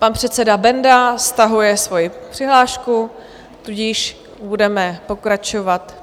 Pan předseda Benda stahuje svoji přihlášku, tudíž budeme pokračovat.